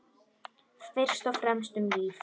Fyrst og fremst um líf.